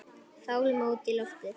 Fálma út í loftið.